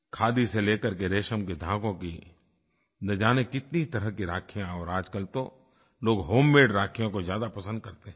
खादी से लेकर के रेशम के धागों की न जाने कितनी तरह की राखियाँ और आजकल तो लोग होममेड राखियों को ज्यादा पसंद करते हैं